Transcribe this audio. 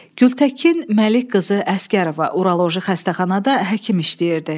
Gültəkin Məlik qızı Əsgərova Uroloji xəstəxanada həkim işləyirdi.